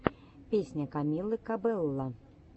песня камилы кабелло